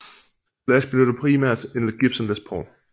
Slash benytter primært en Gibson Les Paul